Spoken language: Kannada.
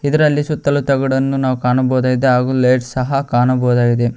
ಇದರಲ್ಲಿ ಸುತ್ತಲೂ ತಗಡನ್ನು ನಾವು ಕಾಣಬಹುದಾಗಿದೆ ಹಾಗೂ ಲೈಟ್ಸ್ ಸಹ ಕಾಣಬಹುದಾಗಿದೆ.